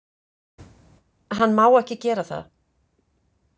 Hann má ekki gera það.